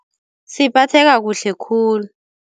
Siphatheka kuhle khulu.